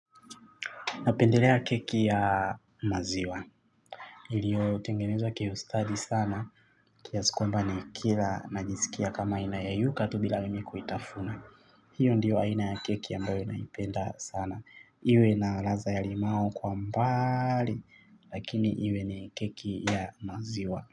Napendelea keki ya maziwa. Iliyo tengenezwa kiustadi sana kiasi kwamba ni kila najisikia kama ina yeyuka tu bila mimi kuitafuna. Hiyo ndiyo aina ya keki ambayo naipenda sana. Iwe na ladha ya limau kwa umbali lakini iwe ni keki ya maziwa.